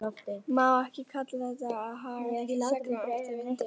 Má ekki kalla þetta að haga seglum eftir vindi?